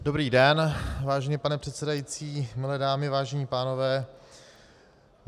Dobrý den, vážený pane předsedající, milé dámy, vážení pánové.